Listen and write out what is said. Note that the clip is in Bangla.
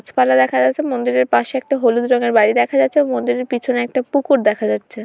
গাছপালা দেখা যাচ্ছে মন্দিরের পাশে একটা হলুদ রঙের বাড়ি দেখা যাচ্ছে আর মন্দিরের পেছনে একটা পুকুর দেখা যাচ্ছে।